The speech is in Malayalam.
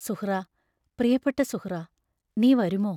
സുഹ്റാ പ്രിയപ്പെട്ട സുഹ്റാ നീ വരുമോ?